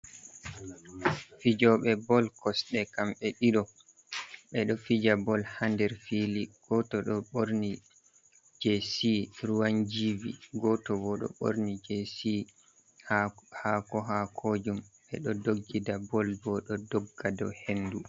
Fijobe bol kosɗe kam be ɗiɗo. Be ɗo fija bol ha nɗer fili goto ɗo borni jesi ruwan givi. Goto bo ɗo borni jesi hako-hako jum. be ɗo ɗoggiɗa. Bal bo ɗo ɗogga ɗow henɗu.